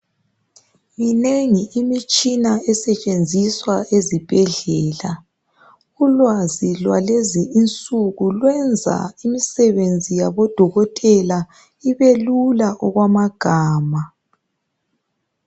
Minengi imitshina esetshenziswa ezibhedlela, ulwazi lwalezi insuku lwenza imisebenzi yaboDokotela ibelula okwamagama.